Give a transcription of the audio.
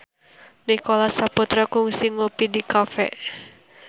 Nicholas Saputra kungsi ngopi di cafe